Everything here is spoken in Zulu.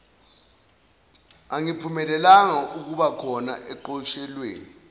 angaphumelelanga ukubakhona oqeqeshweni